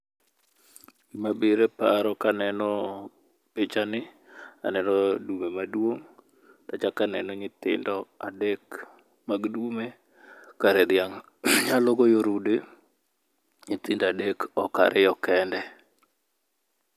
Gima bire poaro kaneno pichani ,aneno dume maduong achak aneno nyithindo adek mag dume. Kare dhiang' nyalo goyo rude nyithindo adek ok ariyo kende.